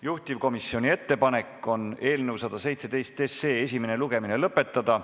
Juhtivkomisjoni ettepanek on eelnõu 117 esimene lugemine lõpetada.